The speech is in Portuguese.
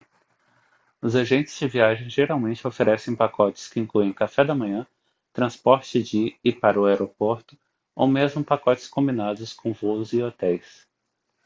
os agentes de viagens geralmente oferecem pacotes que incluem café da manhã transporte de e para o aeroporto ou mesmo pacotes combinados com voos e hotéis